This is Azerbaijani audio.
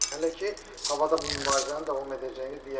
Hələ ki havada bu mübarizənin davam edəcəyini deyə bilərik.